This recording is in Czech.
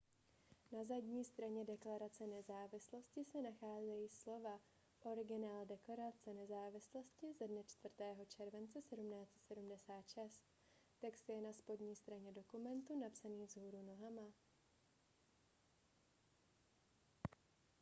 na zadní straně deklarace nezávislosti se nacházejí slova originál deklarace nezávislosti ze dne 4. července 1776 text je na spodní straně dokumentu napsaný vzhůru nohama